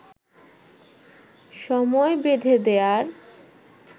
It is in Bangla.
সময় বেঁধে দেয়ার